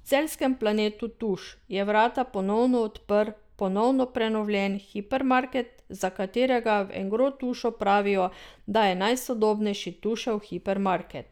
V celjskem Planetu Tuš je vrata ponovno odprl ponovno prenovljen hipermarket, za katerega v Engrotušu pravijo, da je najsodobnejši Tušev hipermarket.